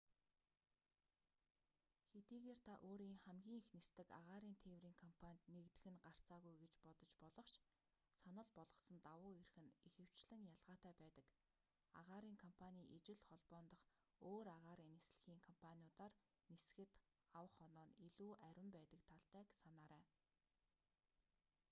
хэдийгээр та өөрийн хамгийн их нисдэг агаарын тээврийн компанид нэгдэх нь гарцаагүй гэж бодож болох ч санал болгосон давуу эрх нь ихэвчлэн ялгаатай байдаг агаарын компаний ижил холбоон дахь өөр агаарын нислэгийн компаниудиар нисэхэд авах оноо нь илүү арвин байдаг талтайг санаарай